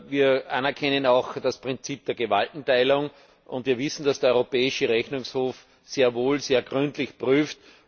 Wir erkennen auch das Prinzip der Gewaltenteilung an, und wir wissen, dass der Europäische Rechnungshof sehr wohl sehr gründlich prüft.